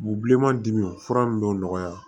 U bi bilenman dimi fura nunnu dɔw nɔgɔya